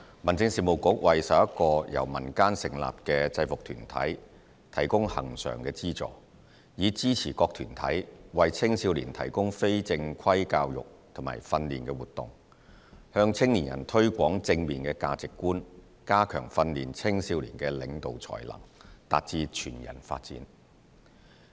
民政事務局為11個由民間成立的制服團體提供恆常資助，以支持各團體為青少年提供非正規教育和訓練活動，向青年人推廣正面的價值觀、加強訓練青少年的領導才能、達致全人發展。